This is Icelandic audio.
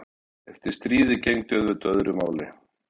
Eftir stríðið gegndi auðvitað öðru máli.